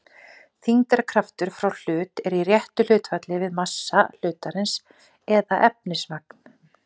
Þyngdarkraftur frá hlut er í réttu hlutfalli við massa hlutarins eða efnismagn.